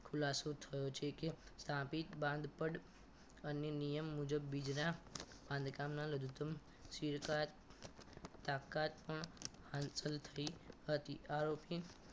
ખુલાસો થયો છે કે તાપીત બાંધ પઠ અને નિયમ મુજબ બીજના બાંધકામના લઘુત્તમ SIM card તાકાત પણ હાંસલ થઈ હતી આરોપી